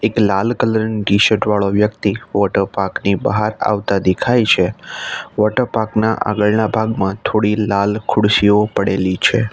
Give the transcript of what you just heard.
એક લાલ કલર ની ટી શર્ટ વાળો વ્યક્તિ વોટરપાર્ક ની બહાર આવતાં દેખાય છે વોટરપાર્ક ના આગળના ભાગમાં થોડી લાલ ખુરશીઓ પડેલી છે.